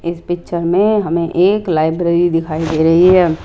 इस पिक्चर में हमें एक लाइब्रेरी दिखाई दे रही है।